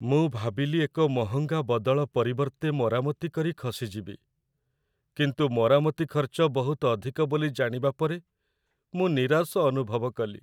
ମୁଁ ଭାବିଲି ଏକ ମହଙ୍ଗା ବଦଳ ପରିବର୍ତ୍ତେ ମରାମତି କରି ଖସିଯିବି, କିନ୍ତୁ ମରାମତି ଖର୍ଚ୍ଚ ବହୁତ ଅଧିକ ବୋଲି ଜାଣିବା ପରେ ମୁଁ ନିରାଶ ଅନୁଭବ କଲି।